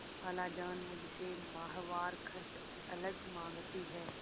खालाजान मुझसे माहवार खर्च अलग माँगती हैं